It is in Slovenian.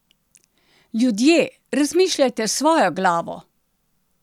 Ljudje, razmišljajte s svojo glavo!